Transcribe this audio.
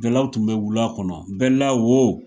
Jalaw tun bɛ wula kɔnɔ bɛla wo